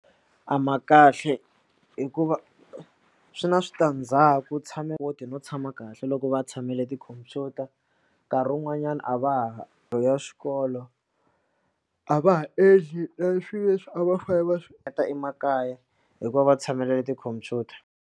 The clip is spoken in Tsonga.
A ma kahle hikuva swi na switandzhaku tshame]?] no tshama kahle loko va tshamele tikhompyuta nkarhi wun'wanyana a va ha xikolo a va ha endli leswi leswi a va fane va swi endla emakaya hikuva va tshamele tikhompyuta.